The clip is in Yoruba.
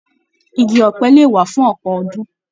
Ìgi ọ̀pẹ lè wà fún ọpọ ọdún.